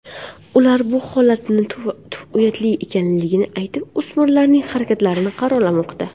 Ular bu holatning uyatli ekanligini aytib, o‘smirlarning harakatlarini qoralamoqda.